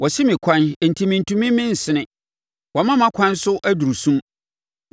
Wasi me ɛkwan enti mentumi mensene; wama mʼakwan so aduru sum.